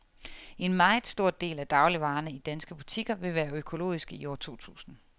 En meget stor del af dagligvarerne i danske butikker vil være økologiske i år to tusind.